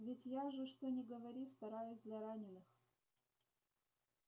ведь я же что ни говори стараюсь для раненых